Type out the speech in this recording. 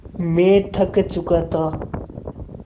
मैं थक चुका था